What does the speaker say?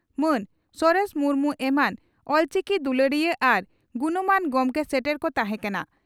ᱢᱟᱱ ᱥᱚᱨᱮᱥ ᱢᱩᱨᱢᱩ ᱮᱢᱟᱱ ᱚᱞᱪᱤᱠᱤ ᱫᱩᱞᱟᱹᱲᱤᱭᱟᱹ ᱟᱨ ᱜᱩᱱᱢᱟᱱ ᱜᱚᱢᱠᱮ ᱥᱮᱴᱮᱨ ᱠᱚ ᱛᱟᱦᱮᱸ ᱠᱟᱱᱟ ᱾